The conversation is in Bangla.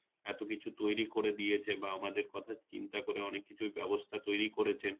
এত কিছু তৈরি করে দিয়েছে বা আমাদের কথা চিন্তা করে অনেক কিছুর ব্যবস্থা তৈরি করেছেন